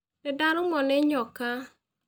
Nĩndarũmwo nĩ nyoka.